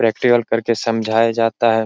Practical कर के समझाया जाता है।